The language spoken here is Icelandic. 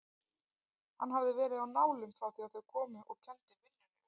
Hann hafði verið á nálum frá því þau komu og kenndi vinnunni um.